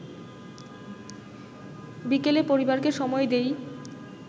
বিকেলে পরিবারকে সময় দেই